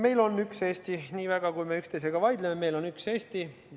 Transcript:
Meil on üks Eesti, ükskõik kui palju me ka üksteisega ei vaidle, on meil üks Eesti.